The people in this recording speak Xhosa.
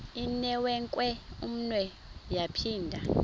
inewenkwe umnwe yaphinda